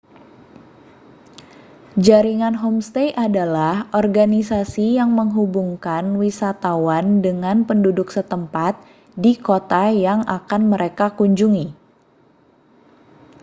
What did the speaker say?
jaringan homestay adalah organisasi yang menghubungkan wisatawan dengan penduduk setempat di kota yang akan mereka kunjungi